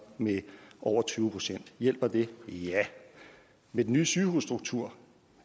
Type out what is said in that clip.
med over tyve procent hjælper det ja med den nye sygehusstruktur